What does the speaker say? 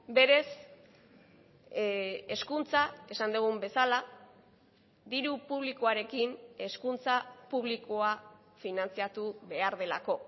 berez hezkuntza esan dugun bezala diru publikoarekin hezkuntza publikoa finantzatu behar delako